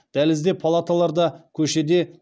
дәлізде палаталарда көшеде